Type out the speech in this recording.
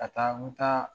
Ka taa n bɛ taa